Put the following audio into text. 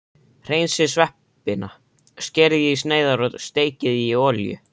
Hreinsið sveppina, skerið í sneiðar og steikið í olíu.